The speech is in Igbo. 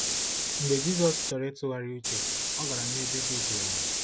Mgbe Jizọs chọrọ ịtụgharị uche, ọ gara n’ebe dị jụụ.